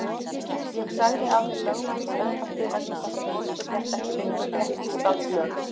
Ég sagði af mér lögmannsembætti vegna þess að konungur hélt ekki lengur rétt Íslands lög.